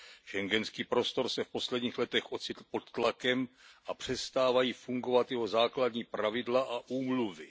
Schengenský prostor se v posledních letech ocitl pod tlakem a přestávají fungovat jeho základní pravidla a úmluvy.